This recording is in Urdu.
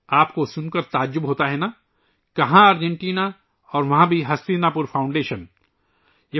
آپ کو یہ سن کر تعجب ہو گا کہ ارجنٹینا میں ہستینا پور فاؤنڈیشن موجود ہے